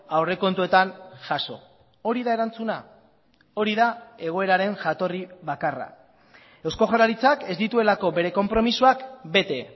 aurrekontuetan jaso hori da erantzuna hori da egoeraren jatorri bakarra eusko jaurlaritzak ez dituelako bere konpromisoak bete